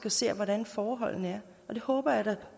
og ser hvordan forholdene er og det håber jeg da